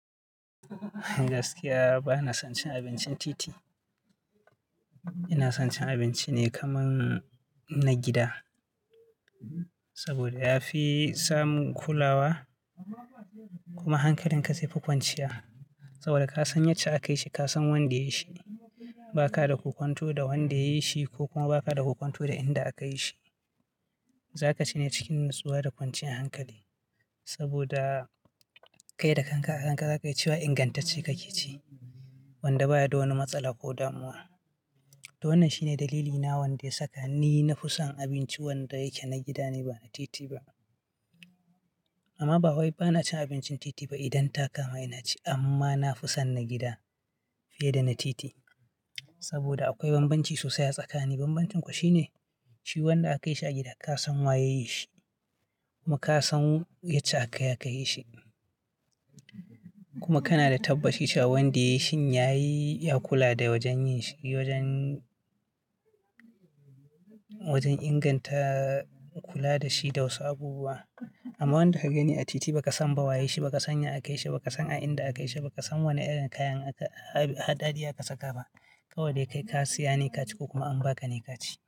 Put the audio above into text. Gaskiya bana son cin abincin titi. Ina son cin abinci ne kaman, na gida saboda ya fi samun kulawa, kuma hankalin ka zai fi kwanciya, saboda ka san yacce aka yi shi, ka san wanda ya yi shi. Ba ka da ko kwanto da wanda ya yi shi, ko kuma ba ka da ku kwanto da inda aka yi shi. Za ka ci ne cikin natsuwa da kwancin hankali saboda kai da kanka a kanka za ka yi cewa ingantacce kake ci wanda baya da wani matsala ko damuwa. To wannan shine dalilina wanda ya saka ni na fi son abinci wanda yake na gida ne ba na titi ba. Amma ba wai bana cin abincin titi ba idan ta kama ina ci amma na fi son na gida fiye da na titi saboda akwai bambanci sosai a tsakanin bambancin kuwa shine shi wanda aka yi shi a gida, ka san waye ya yi shi, kuma ka san yacce aka yi aka yi shi, kuma kana da tabbacin cewa wanda ya yi shi ya yi ya kula da wajen yin shi wajen inganta kula da shi da wasu abubuwa. Amma wanda ka gani a titi ba ka san ba waye shi, ba ka san ya aka yi shi, ba ka san a inda aka yi shi, ba ka san wane irin kayan haɗari aka saka ba kawai dai kai ka siya ne ka ci ko kuma an ba ka ne ka ci.